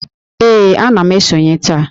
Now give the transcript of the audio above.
Ee, ana m esonye taa